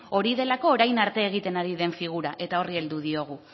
hori delako orain arte egiten ari den figura eta horri heldu diogu